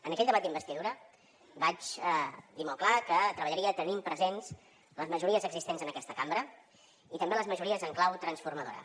en aquell debat d’investidura vaig dir molt clar que treballaria tenint presents les majories existents en aquesta cambra i també les majories en clau transformadora